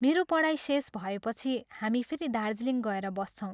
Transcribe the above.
मेरो पढाई शेष भएपछि हामी फेरि दार्जीलिङ गएर बस्छौं।